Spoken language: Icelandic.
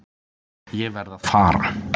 Ég verð að fara.